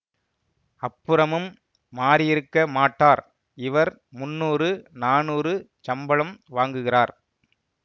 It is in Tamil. அப்புறமும் மாறியிருக்க மாட்டார் இவர் முந்நூறு நானூறு சம்பளம் வாங்குகிறார்